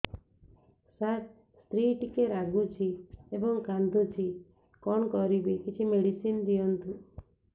ସାର ସ୍ତ୍ରୀ ଟିକେ ରାଗୁଛି ଏବଂ କାନ୍ଦୁଛି କଣ କରିବି କିଛି ମେଡିସିନ ଦିଅନ୍ତୁ